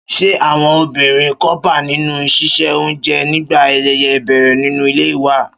Ṣé àwọn obìnrin ń kópa nínú ṣíṣe oúnjẹ nígbà ayẹyẹ ìbẹ̀rẹ̀ nínú ilé wa?